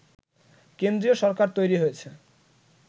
কেন্দ্রীয় সরকার তৈরি হয়েছে